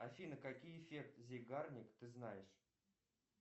афина какие эффект зейгарник ты знаешь